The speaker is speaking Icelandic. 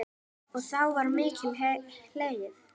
Og þá var mikið hlegið.